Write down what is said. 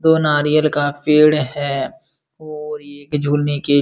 दो नारियल का पेड़ है और ये एक झूलने के --